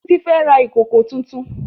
Títí fẹ́ ra ìkòkò tuntun